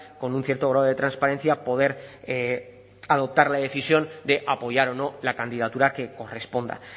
con un cierto grado de transparencia poder adoptar la decisión de apoyar o no la candidatura que corresponda